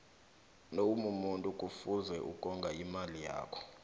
nawumumuntu kufuze ukonga imali yakho